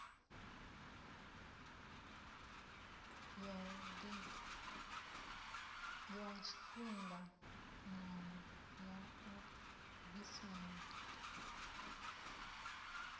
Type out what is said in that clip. ya tshifhinganyana ya u bvisela